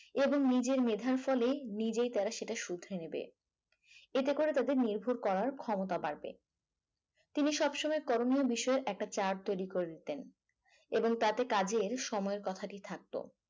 এবং নিজের মেধা ফলে নিজেই তারা সেটা শুধরে নেবে এতে করে তাদের নির্ভর করার ক্ষমতা বাড়বে তিনি সবসময় কর্মের বিষয়ে একটা chart তৈরি করে দিতেন এবং তাতে কাজের সময়ের কথাটি থাকতো